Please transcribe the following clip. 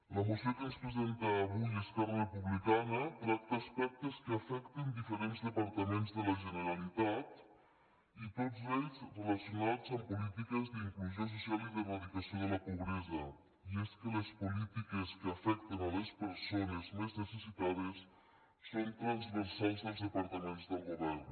la moció que ens presenta avui esquerra republicana tracta aspectes que afecten diferents departaments de la generalitat i tots relacionats amb polítiques d’inclusió social i d’eradicació de la pobresa i és que les polítiques que afecten les persones més necessitades són transversals dels departaments del govern